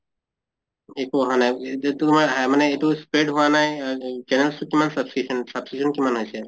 একো অহা নাই তোমাৰ মানে এইটো spread হোৱা নাই আহ এই channels ত কিমান subscription, subscription কিমান হৈছে?